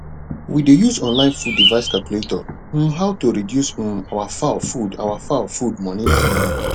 we dey use online food device calculator um how to reduce um our fowl food our fowl food money um